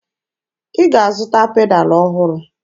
Ị ga-azụta pedalụ ọhụrụ!